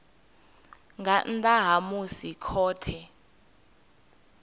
nga nnḓa ha musi khothe